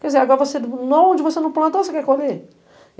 Quer dizer, agora a onde você não plantou, você quer colher?